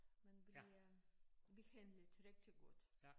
Man bliver behandlet rigtig godt